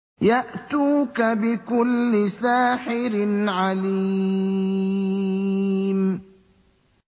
يَأْتُوكَ بِكُلِّ سَاحِرٍ عَلِيمٍ